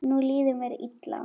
Nú líður mér illa.